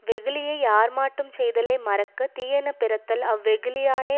வெகுளியை யார்மாட்டுஞ் செய்தலை மறக்க தீயன பிறத்தல் அவ்வெகுளியானே